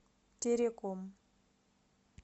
тереком